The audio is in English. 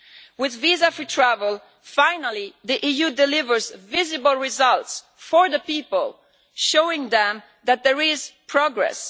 With visa free travel, finally the EU delivers visible results for the people, showing them that there is progress.